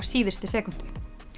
síðustu sekúndu